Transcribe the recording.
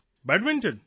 badminton